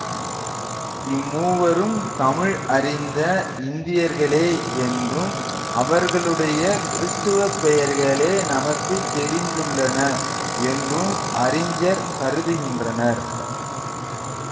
இம்மூவரும் தமிழ் அறிந்த இந்தியர்களே என்றும் அவர்களுடைய கிறிஸ்தவப் பெயர்களே நமக்கு தெரிந்துள்ளன என்றும் அறிஞர் கருதுகின்றனர்